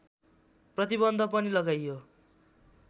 प्रतिबन्ध पनि लगाइयो